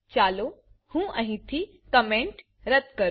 ચાલો હું અહીંથી કોમેન્ટ રદ્દ કરું